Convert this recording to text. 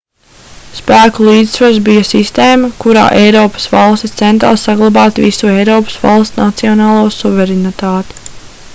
spēku līdzsvars bija sistēma kurā eiropas valstis centās saglabāt visu eiropas valstu nacionālo suverenitāti